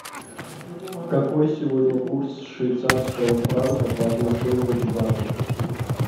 какой сегодня курс швейцарского франка по отношению к бату